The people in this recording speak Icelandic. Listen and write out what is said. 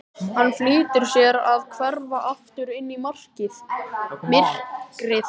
Hann flýtir sér að hverfa aftur inn í myrkrið.